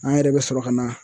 An yɛrɛ bɛ sɔrɔ ka na